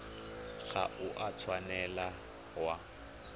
ga o a tshwanela wa